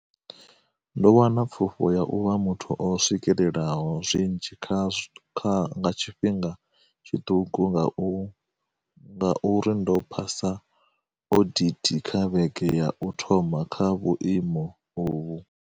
Ndo wana pfufho ya u vha muthu o swikelelaho zwinzhi nga kha tshifhinga tshiṱuku nga uri ndo phasa odithi kha vhege ya u thoma kha vhuimo uvhu.